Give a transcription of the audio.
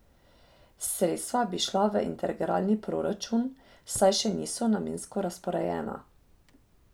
Sredstva bi šla v integralni proračun, saj še niso namensko razporejena.